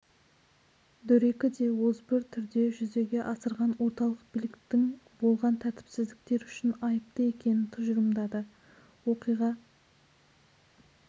дөрекі де озбыр түрде жүзеге асырған орталық биліктің болған тәртіпсіздіктер үшін айыпты екенін тұжырымдады оқиға